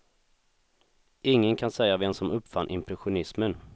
Ingen kan säga vem som uppfann impressionismen.